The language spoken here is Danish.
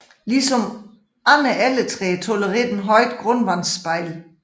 Ligesom andre Elletræer tolererer den højt grundvandsspejl